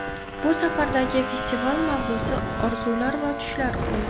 Bu safargi festival mavzusi orzular va tushlar bo‘ldi.